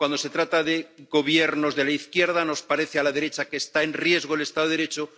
Cuando se trata de gobiernos de la izquierda, nos parece a la derecha que está en riesgo el Estado de Derecho